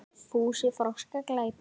Fúsi tók á móti Lillu.